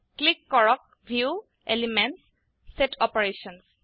click কৰক ভিউগট এলিমেণ্টছগত চেট অপাৰেশ্যনছ